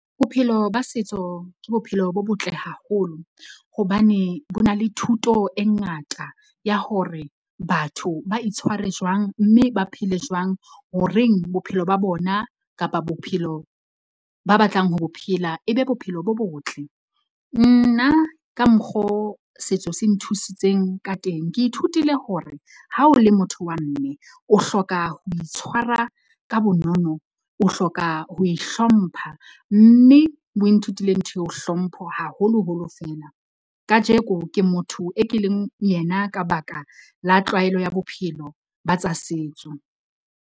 Bophelo ba setso ke bophelo bo botle haholo. Hobane bo na le thuto e ngata ya hore batho ba itshware jwang mme ba phele jwang, ho reng, bophelo ba bona kapa bophelo ba batlang ho bo phela ebe bophelo bo botle. Nna ka mokgo setso se nthusitseng ka teng. Ke ithutile hore ha o le motho wa mme o hloka ho itshwara ka bonono, o hloka ho e hlompha, mme bo nthutile ntho eo hlompho, haholoholo feela. Kajeko ke motho e ke leng yena ka baka la tlwaelo ya bophelo ba tsa setso.